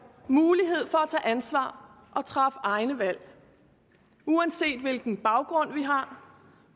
mulighed for at tage ansvar og træffe egne valg uanset hvilken baggrund vi har